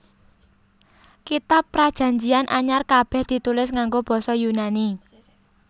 Kitab Prajanjian Anyar kabèh ditulis nganggo basa Yunani